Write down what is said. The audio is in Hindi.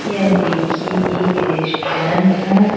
यह देखिए एक रेस्टोरेंट है।